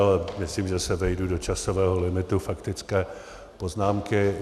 Ale myslím, že se vejdu do časového limitu faktické poznámky.